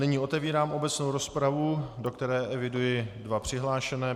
Nyní otevírám obecnou rozpravu, do které eviduji dva přihlášené.